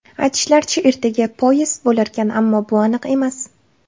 Aytishlaricha, ertaga poyezd bo‘larkan, ammo bu aniq emas.